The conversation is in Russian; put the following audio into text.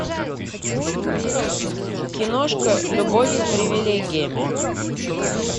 киношка любовь с привилегиями